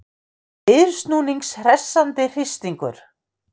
Viðsnúnings hressandi hristingur.